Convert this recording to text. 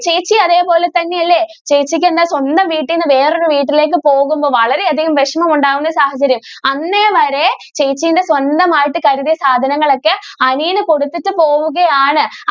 ചേച്ചി അതേ പോലെ തന്നെ അല്ലെ ചേച്ചിക്ക് എന്താ സ്വന്തം വീട്ടിൽ നിന്ന് വേറെ ഒരു വീട്ടിലേക്ക് പോകുമ്പോൾ വളരെ അധികം വിഷമം ഉണ്ടാകുന്ന സാഹചര്യം അന്നേ വരെ ചേച്ചിയുടെ സ്വന്തം ആയിട്ട് കരുതിയ സാധനങ്ങൾ ഒക്കെ അനിയന് കൊടുത്തിട്ട് പോവുകയാണ്.